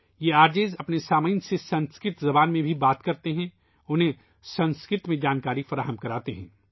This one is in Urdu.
یہ آر جے اپنے سننے والوں سے سنسکرت زبان میں بات کرتے ہیں ، انہیں سنسکرت میں معلومات فراہم کرتے ہیں